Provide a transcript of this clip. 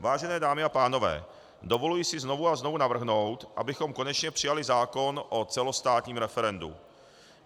Vážené dámy a pánové, dovoluji si znovu a znovu navrhnout, abychom konečně přijali zákon o celostátním referendu.